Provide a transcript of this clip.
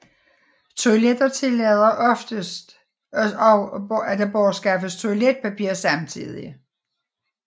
Toiletter tillader oftest også at der bortskaffes toiletpapir samtidig